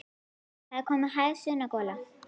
Það var komin hæg sunnan gola.